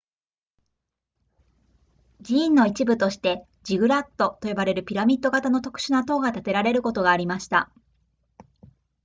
寺院の一部としてジグラットと呼ばれるピラミッド型の特殊な塔が建てられることがありました